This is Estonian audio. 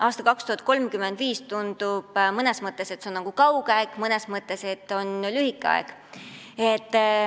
Aasta 2035 tundub mõnes mõttes nagu kauge aeg, mõnes mõttes aga lähedane aeg.